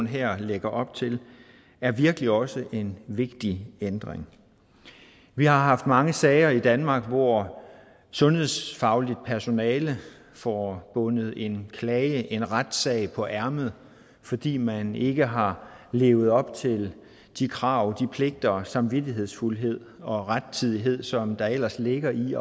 her lægger op til er virkelig også en vigtig ændring vi har haft mange sager i danmark hvor sundhedsfagligt personale får bundet en klage en retssag på ærmet fordi man ikke har levet op til de krav de pligter samvittighedsfuldhed og rettidighed som ellers ligger i